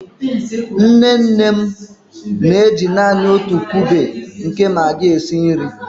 Nne nne m na-eji naanị otu kube nke Magi esi nri.